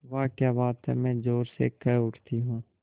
वाह क्या बात है मैं ज़ोर से कह उठती हूँ